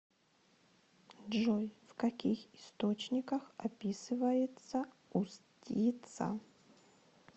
джой в каких источниках описывается устьица